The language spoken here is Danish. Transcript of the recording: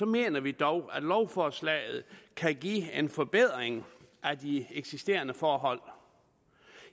mener vi dog at lovforslaget kan give en forbedring af de eksisterende forhold